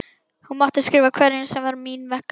Hún mátti skrifa hverjum sem var mín vegna.